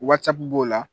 Wasapu b'o la